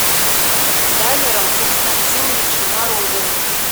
далером константиновичем морозовым